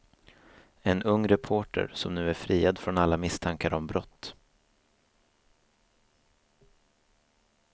En ung reporter som nu är friad från alla misstankar om brott.